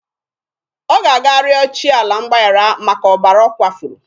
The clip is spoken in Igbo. Ọ ga-aga rịọ chi ala mgbaghara maka ọbara ọ kwafuru.